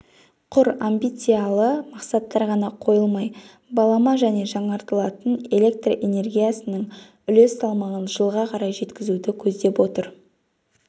құр амбициялы мақсаттар ғана қойылмай балама және жаңартылатын электр энергиясының үлес салмағын жылға қарай жеткізуді көздеп отыр